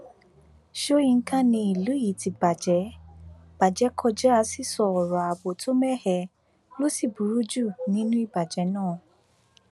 sọyìnkà ni ìlú yìí ti bàjẹ bàjẹ kọjá sísọ ọrọ ààbò tó mẹhẹ ló sì burú jù nínú ìbàjẹ náà